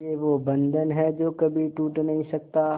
ये वो बंधन है जो कभी टूट नही सकता